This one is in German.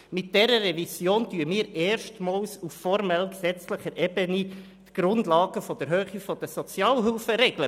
Mit dieser Revision schaffen wir erstmals auf formell-gesetzlicher Ebene die Grundlagen für die Sozialhilferegeln.